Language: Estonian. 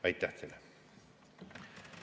Aitäh teile!